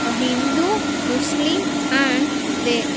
A Hindu Muslim and they --